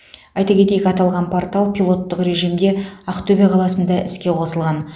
айта кетейік аталған портал пилоттық режимде ақтөбе қаласында іске қосылған